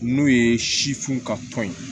N'o ye si funu ka tɔn ye